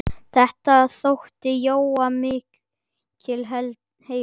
Þetta þótti Jóa mikill heiður.